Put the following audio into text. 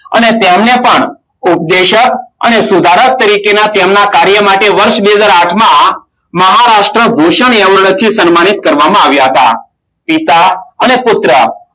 અને તેમને પણ ઉપદેશક અને સુધારક તરીકે ના તેમના કાર્ય માટે, વર્ષ બે હજાર આઠમાં મહારાષ્ટ્ર ભૂષણ એવોર્ડ થી તેમને સન્માનિત કરવામાં આવ્યા હતા. પિતા અને પુત્ર,